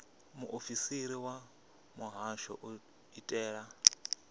muofisiri wa muhasho u itela